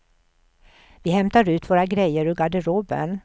Vi hämtar ut våra grejer ur garderoben.